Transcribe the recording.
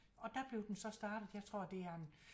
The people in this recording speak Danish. Og der blev den så startet jeg tror det er en